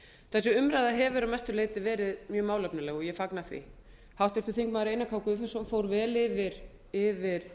þessi umræða hefur að mestu leyti verið mjög málefnaleg ég fagna því háttvirtur þingmaður einar k guðfinnsson fór vel yfir